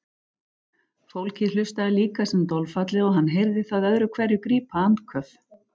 Fólkið hlustaði líka sem dolfallið og hann heyrði það öðru hverju grípa andköf.